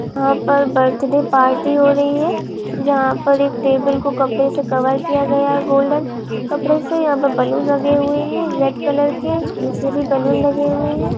यहाँ पर birthday party हो रही है यहाँ पर एक टेबल को कपड़े से कवर किया है गोल्डन कपडे से यहाँ पर बैलून लगे हुए है रेड कलर के पीछे भी बलून लगे हुए है।